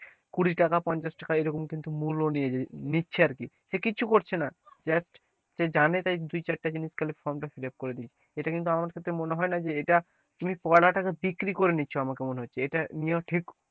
কুড়ি টাকা পঞ্চাশ টাকা এরকম কিন্তু মূল্য নিয়ে নিচ্ছে আর কি, সে কিছু করছে না just সে জানে তাই দু চারটা জিনিস form টা ফিলাপ করে দিচ্ছে এটা কিন্তু আমার কাছে মনে হয় না যে, এটা তুমি পড়াটাকে বিক্রি করে নিচ্ছ আমাকে মনে হচ্ছে, ইটা নেয়া ঠিক,